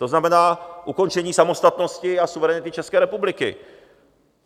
To znamená ukončení samostatnosti a suverenity České republiky.